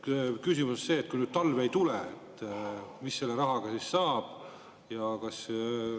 Küsimus on see: kui talv ei tule, mis sellest rahast saab?